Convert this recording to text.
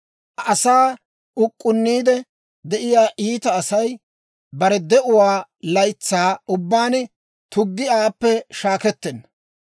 «Asaa uk'k'unniide de'iyaa iita asay, bare de'uwaa laytsaa ubbaan tuggi aappe shaakkettenna.